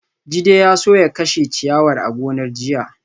Jide ya so ya kashe ciyawar a gonar jiya